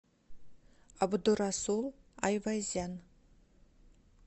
абдурасул айвазян